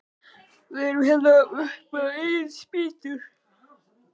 Við erum hér upp á eigin spýtur.